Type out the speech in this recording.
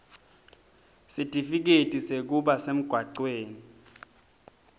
sitifiketi sekuba semgwacweni